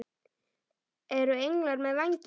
Eru englar með vængi?